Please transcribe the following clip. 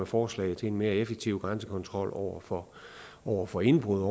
forslag til en mere effektiv grænsekontrol over for over for indbrud